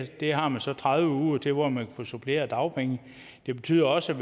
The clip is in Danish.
har man så tredive uger til hvor man kan få supplerende dagpenge det betyder også